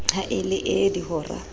ha e le ee dihora